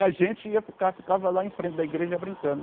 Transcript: E a gente ia ficar ficava lá em frente da igreja brincando.